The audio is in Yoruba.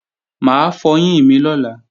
Mà á fọyín mi lọ́la